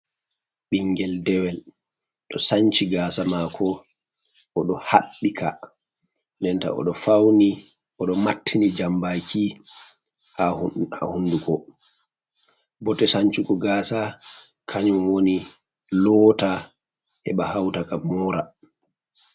Ɓinngel dewel ɗo sanci Gaasa maako o ɗo haɓɓi ka, denta o ɗo fawni o ɗo mattini Jammbaki haa hunnduko, bote sancugo Gaasa kanyum woni loota heɓa hawta ka moora.